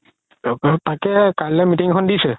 তাকেই কাইলৈ meeting এখন দিছে